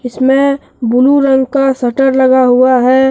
इसमें ब्लू रंग का शटर लगा हुआ है।